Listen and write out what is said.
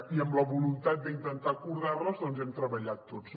i amb la voluntat d’intentar acordar les doncs hem treballat tots